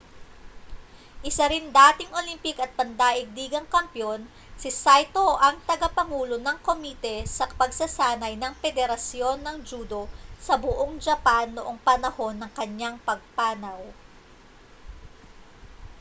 isa ring dating olympic at pandaigdigang kampeon si saito ang tagapangulo ng komite sa pagsasanay ng pederasyon ng judo sa buong japan noong panahon ng kaniyang pagpanaw